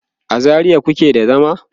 a zaria kuke da zama?